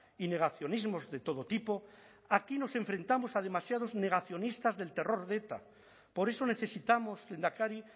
y negacionismos de todo tipo aquí nos enfrentamos a demasiados negacionistas del terror de eta por eso necesitamos lehendakari